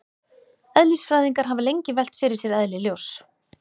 Eðlisfræðingar hafa lengi velt fyrir sér eðli ljóss.